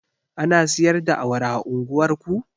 Ana siyar da awara a unguwar ku?